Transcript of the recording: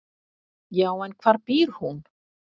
"""Já, en hvar býr hún?"""